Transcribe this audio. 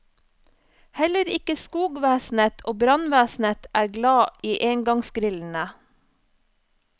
Heller ikke skogvesenet og brannvesenet er glad i engangsgrillene.